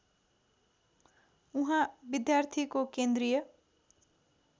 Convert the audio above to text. उहाँ विद्यार्थीको केन्द्रीय